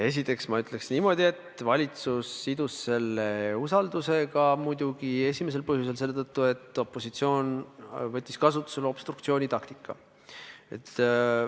Esiteks ma ütleks niimoodi, et valitsus sidus selle usaldusega muidugi eelkõige selle tõttu, et opositsioon võttis kasutusele obstruktsioonitaktika.